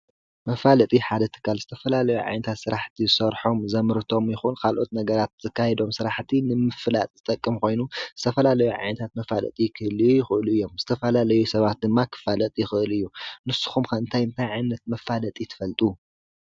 መፋለጢ ሓደ እትካል ዝተፈላ ለዮ ዓይንታት ሥራሕቲ ሠርሖም ዘምርቶም ይኹን ኻልኦት ነገራት ዘካይዶም ሥራሕቲ ንምፍላጥ ዝጠቅምኾይኑ ዝተፈላ ለዮ ዓይንታት መፋለጢ ኽህልዩ ይኽእሉ እዮም ዝተፈላለዩ ሰባት ድማ ኽፋለጥ ይኽእል እዮ ንስኹም ከእንታይ እምታይ ዓይነት መፋለጢ ትፈልጡ?